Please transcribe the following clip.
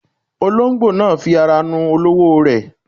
Olóńgbò náà fi ara nu olówó rẹ̀.